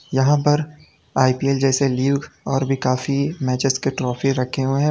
यहां पर आई_पी_एल जैसे लीग और भी काफी मैचेस के ट्रॉफी रखे हुए हैं।